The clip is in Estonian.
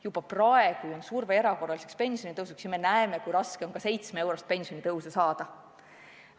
Juba praegu on surve erakorraliseks pensionitõusuks, aga me näeme, kui raske on ka 7-eurost pensionitõusu saada.